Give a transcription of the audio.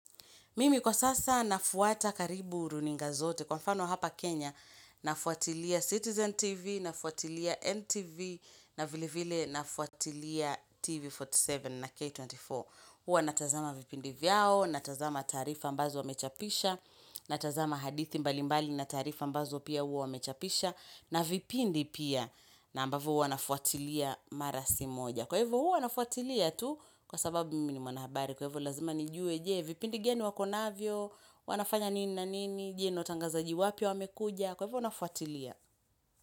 Mimi kwa sasa nafuata karibu runinga zote kwa mfano hapa Kenya nafuatilia Citizen TV, nafuatilia NTV, na vile vile nafuatilia TV 47 na K24. Uwa natazama vipindi vyao, natazama tarifa ambazo wamechapisha, natazama hadithi mbalimbali na tarifa ambazo pia uwa wamechapisha, na vipindi pia na ambavo uwa nafuatilia mara si moja. Kwa hivyo huu wanafuatilia tu kwa sababu mimi mwanahabari. Kwa hivyo lazima nijue jee vipindi geni wakonavyo, wanafanya nini na nini, jeno tangazaji wapia wamekuja. Kwa hivyo wanafuatilia.